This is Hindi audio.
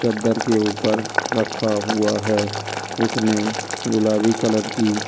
चद्दर के ऊपर रखा हुआ है उसने गुलाबी कलर की शर्ट पहन।